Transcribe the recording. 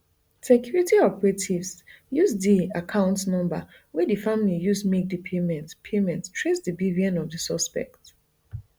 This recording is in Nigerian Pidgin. security operatives use di account number wey di family use make di payment payment trace di bvn of di suspect